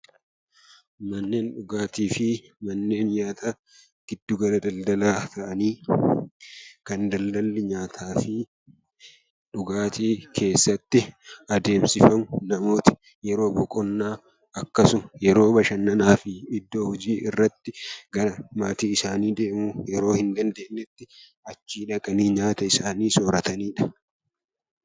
Manneen dhugaatii fi manneen nyaataa giddugala daldalaa ta'anii, kan daldalli nyaataa fi dhugaatii keessatti adeemsifamu, namooti yeroo boqonnaa akkasuma yeroo bashannanaa fi iddoo hojii irratti gara maatii isaanii deemuu hin dandeenyetti achii dhaqanii nyaata isaanii sooratani dha.